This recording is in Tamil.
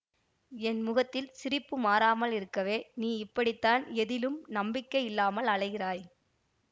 என் முகத்தில் சிரிப்பு மாறாமல் இருக்கவே நீ இப்படித்தான் எதிலும் நம்பிக்கை இல்லாமல் அலைகிறாய்